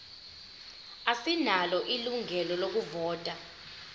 asinalo ilungelo lokuvota